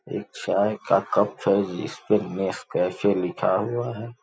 एक चाय का कप है इस पे नेस कैफे लिखा हुआ है।